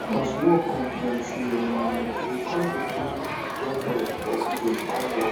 as work con plenty um we con dey bring young boys for villages come work